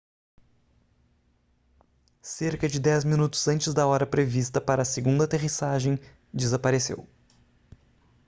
cerca de dez minutos antes da hora prevista para a segunda aterrissagem desapareceu